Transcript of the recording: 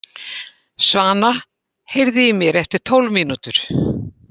Svana, heyrðu í mér eftir tólf mínútur.